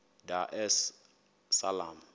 dar es salaam